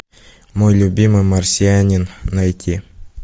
мой любимый марсианин найти